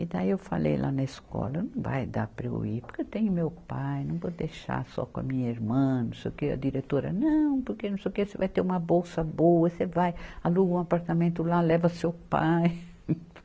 E daí eu falei lá na escola, não vai dar para eu ir, porque eu tenho meu pai, não vou deixar só com a minha irmã, não sei o quê, a diretora, não, porque não sei o quê, você vai ter uma bolsa boa, você vai aluga um apartamento lá, leva seu pai.